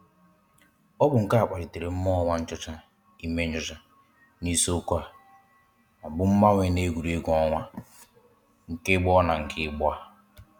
Ọ bụ nke a kpalitere mmụọ nwanchọcha ime nchọcha n’isiokwu a bụ ‘mgbanwe n’egwuregwu ọnwa nke gboo na nke ugbu a’.